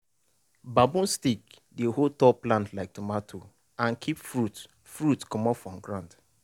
bamboo stick dey hold tall plant like tomato and keep fruit fruit comot for ground.